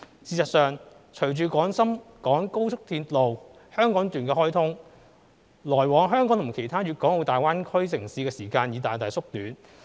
事實上，隨着廣深港高速鐵路香港段開通，來往香港與其他大灣區城市的時間已大大縮短。